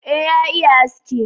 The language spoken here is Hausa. e ya iya aski